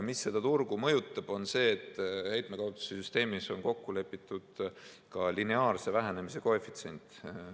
Mis seda turgu mõjutab, on see, et heitmekaubanduse süsteemis on kokku lepitud ka lineaarse vähenemise koefitsient.